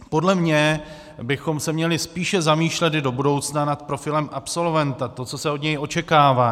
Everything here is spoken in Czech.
Podle mne bychom se měli spíše zamýšlet i do budoucna nad profilem absolventa, to, co se od něj očekává.